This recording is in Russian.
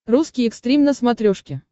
русский экстрим на смотрешке